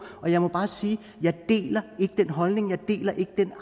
og jeg må bare sige jeg deler ikke den holdning jeg deler ikke den